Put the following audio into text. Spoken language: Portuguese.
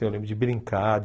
Eu lembro de brincar.